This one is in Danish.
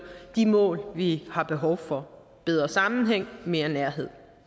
de mål vi har behov for bedre sammenhæng mere nærhed